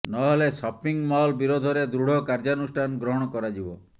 ନହେଲେ shopping mall ବିରୋଧରେ ଦୃଢ଼ କାର୍ଯ୍ୟାନୁଷ୍ଠାନ ଗ୍ରହଣ କରାଯିବ